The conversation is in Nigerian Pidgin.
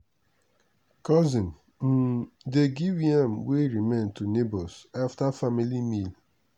cousin um dey give yam wey remain to neighbours after family meal.